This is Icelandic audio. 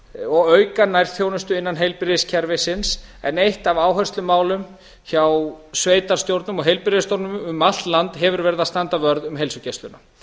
og auka nærþjónustu innan heilbrigðiskerfisins en eitt af áherslumálum hjá sveitarstjórnum og heilbrigðisstofnunum um allt land hefur verið að standa vörð um heilsugæsluna